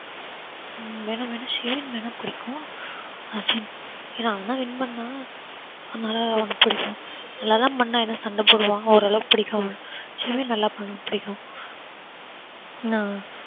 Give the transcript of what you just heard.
வேணும்னா ஷெரின் வேணும்னா பிடிக்கும் அஸிம் ஏன்னா அவன் தான் win பண்ணுனா. அதனால அவன புடிச்சுருக்கும் நல்லா தான் பண்ணா என்ன சண்ட போடுவான். ஓரளவுக்கு பிடிக்கும் அவன ஷெரின் நல்லா பண்ணும் பிடிக்கும்